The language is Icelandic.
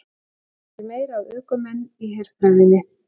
Reynir meira á ökumenn í herfræðinni